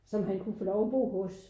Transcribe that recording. Som han kunne få lov at bo hos